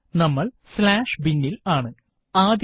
നമ്മള് binവിവരണം slash bin ൽ ആണ് ആദ്യത്തെ